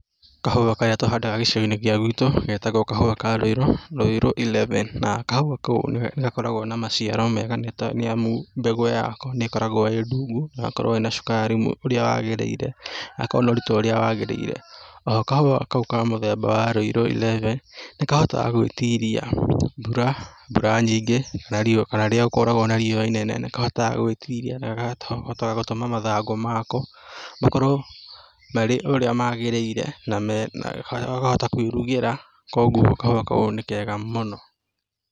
Kahũa karĩa tũhandaga gĩcigo-inĩ gĩa gwitũ getagwo kahũa ka rũirũ, rũirũ eleven na kahũa kau nĩ gakoragwo na maciaro mega nĩ amu mbegũ yako nĩkoragwo ĩ ndungu na ĩgakorwo ĩna cukari ũrĩa wagĩrĩire , gagakorwo na ũritũ ũra wagĩrĩire, o ho kahũa kau ka mũthemba wa rũiru eleven nĩ kahotaga gwĩtiria mbura, mbura nyingĩ na riũa, kana rĩrĩa gũkoragwo na riũa inene, nĩ kahotaga gwĩtiria, na gakahota gũtũma mathangũ mako makorwo marĩ ũrĩa magĩrĩire, na mena , gakahota kuurugĩra, koguo kahũa kau nĩ kega mũno.